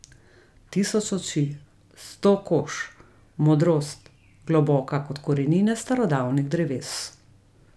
Tisoč oči, sto kož, modrost, globoka kot korenine starodavnih dreves.